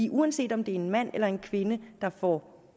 uanset om det er en mand eller en kvinde der får